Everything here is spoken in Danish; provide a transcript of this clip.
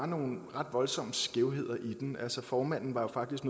nogle ret voldsomme skævheder i den altså formanden var jo faktisk